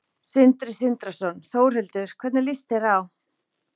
Sindri Sindrason: Þórhildur, hvernig lýst þér á?